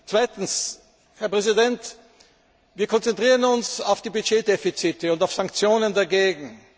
Zweitens, Herr Präsident, konzentrieren wir uns auf die Budgetdefizite und auf Sanktionen dagegen.